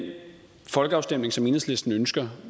folkeafstemning som enhedslisten ønsker